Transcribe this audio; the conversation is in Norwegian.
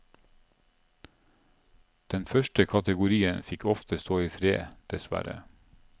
Den første kategorien fikk ofte stå i fred, dessverre.